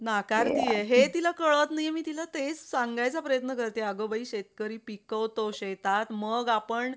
त्याचा बारावीचा result लागल्यावर वगैरे.